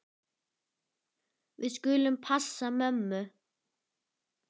Við skulum passa mömmu.